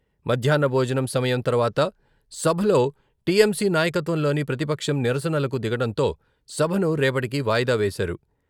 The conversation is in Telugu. మధ్యాహ్న భోజనం సమయం తర్వాత సభలో టిఎంసి నాయకత్వంలోని ప్రతిపక్షం నిరసనలకు దిగడంతో సభను రేపటికి వాయిదా వేశారు.